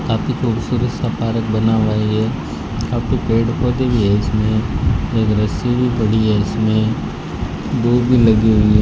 काफी खूबसूरत सा पारक बना हुआ है ये काफी पेड़ पौधे भी है इसमें एक रस्सी भी पड़ी है इसमें दूब भी लगी हुई है।